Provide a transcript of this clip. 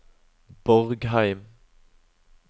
Borgheim